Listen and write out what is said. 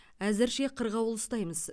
әзірше қырғауыл ұстаймыз